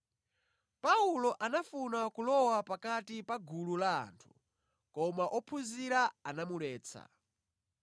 Paulo anafuna kulowa pakati pa gulu la anthu, koma ophunzira anamuletsa.